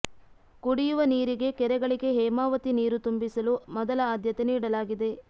ಕುಡಿಯುವ ನೀರಿಗೆ ಕೆರೆಗಳಿಗೆ ಹೇಮಾವತಿ ನೀರು ತುಂಬಿಸಲು ಮೊದಲ ಅದ್ಯತೆ ನೀಡಲಾಗಿದೆ